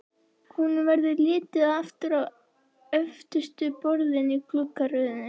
Honum verður litið aftur á öftustu borðin í gluggaröðinni.